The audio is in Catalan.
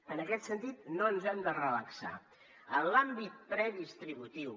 en aquest sentit no ens hem de relaxar en l’àmbit predistributiu